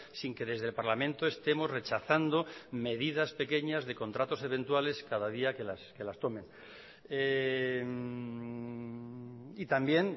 sin que desde el parlamento estemos rechazando medidas pequeñas de contratos eventuales cada día que las tomen y también